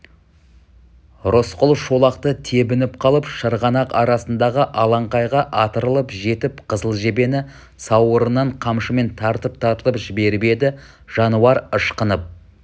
рысқұл шолақты тебініп қалып шырғанақ арасындағы алаңқайға атырылып жетіп қызыл жебені сауырынан қамшымен тартып-тартып жіберіп еді жануар ышқынып